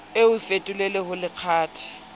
o e fetolele ho lekgathe